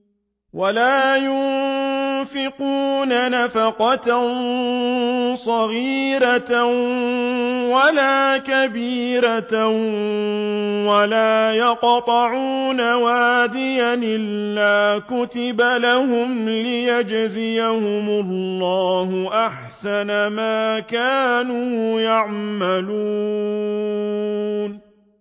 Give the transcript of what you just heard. وَلَا يُنفِقُونَ نَفَقَةً صَغِيرَةً وَلَا كَبِيرَةً وَلَا يَقْطَعُونَ وَادِيًا إِلَّا كُتِبَ لَهُمْ لِيَجْزِيَهُمُ اللَّهُ أَحْسَنَ مَا كَانُوا يَعْمَلُونَ